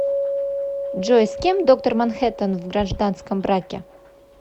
джой с кем доктор манхэттан в гражданском браке